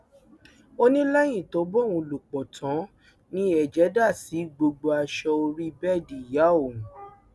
ó ní lẹyìn tó bá òun lò pọ tán ni ẹjẹ dà sí gbogbo aṣọ orí bẹẹdì ìyá òun